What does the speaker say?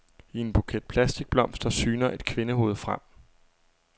I en buket plastikblomster syner et kvindehoved frem.